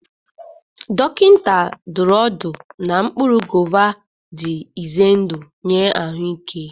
Dọkịta dụrụ ọdụ na mkpụrụ gova dị ize ndụ nye ahụike.